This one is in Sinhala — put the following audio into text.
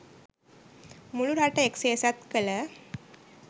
මුළු රට එක් සේසත් කළ